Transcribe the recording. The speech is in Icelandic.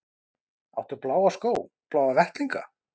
Áttu bláa skó, bláa vettlinga?